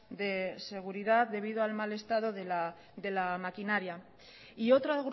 de seguridad debido al mal estado de la maquinaria y otro